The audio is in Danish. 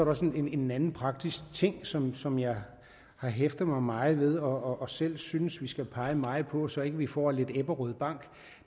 også en anden praktisk ting som som jeg har hæftet mig meget ved og selv synes vi skal pege meget på så ikke vi får lidt ebberød bank